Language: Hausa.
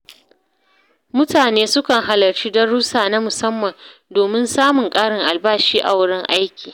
Mutane sukan halarci darussa na musamman domin samun karin albashi a wurin aiki.